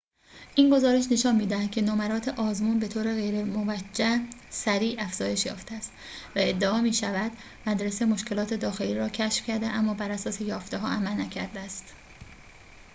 این گزارش نشان می‌دهد که نمرات آزمون به طور غیرموجه سریع افزایش یافته است و ادعا می‌شود مدرسه مشکلات داخلی را کشف کرده اما براساس یافته‌ها عمل نکرده است